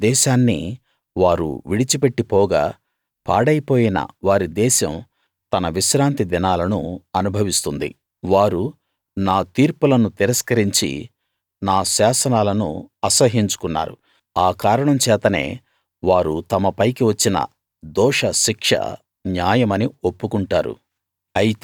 తమ దేశాన్ని వారు విడిచిపెట్టి పోగా పాడైపోయిన వారి దేశం తన విశ్రాంతి దినాలను అనుభవిస్తుంది వారు నా తీర్పులను తిరస్కరించి నా శాసనాలను అసహ్యించుకున్నారు ఆ కారణం చేతనే వారు తమ పైకి వచ్చిన దోషశిక్ష న్యాయమని ఒప్పుకొంటారు